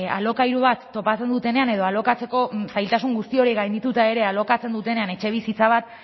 alokairu bat topatzen dutenean edo alokatzeko zailtasun guzti horiek gaindituta ere alokatzen dutenean etxebizitza bat